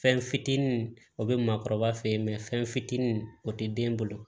Fɛn fitinin o bɛ maakɔrɔba fe ye fɛn fitinin o tɛ den bolo